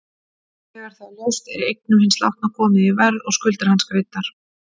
Þegar það er ljóst er eignum hins látna komið í verð og skuldir hans greiddar.